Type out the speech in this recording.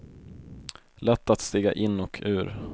Lätt att stiga in och ur.